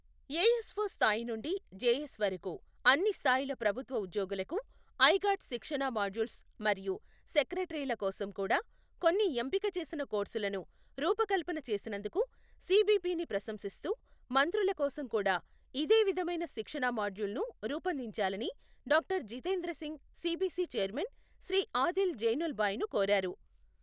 ASO స్థాయి నుండి JS వరకు అన్ని స్థాయిల ప్రభుత్వ ఉద్యోగులకు ఐగాట్ శిక్షణా మాడ్యూల్స్ మరియు సెక్రటరీల కోసం కూడా కొన్ని ఎంపిక చేసిన కోర్సులను రూపకల్పన చేసినందుకు సిబిపిని ప్రశంసిస్తూ, మంత్రుల కోసం కూడా ఇదే విధమైన శిక్షణా మాడ్యూల్ను రూపొందించాలని doctor Jitendra Singh CBC chairman Shri Adil జైనుల్భాయ్ను కోరారు.